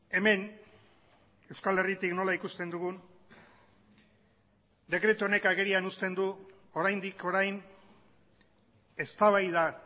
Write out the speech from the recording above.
hemen euskal herritik nola ikusten dugun dekretu honek agerian uzten du oraindik orain eztabaida